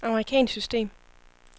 amerikansk system